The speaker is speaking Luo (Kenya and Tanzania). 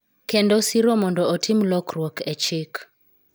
Kendo siro mondo otim lokruok e chik.